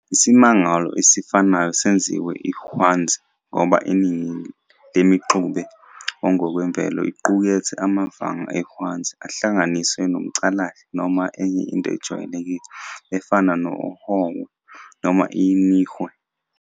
Isimangalo esifanayo singenziwa iHwanzi ngoba iningi lemixube engokwemvelo iqukethe amavanga ehwanzi ahlanganiswe nomcalahle noma enye into ejwayelekile efana nesOhwe noma iNihwe.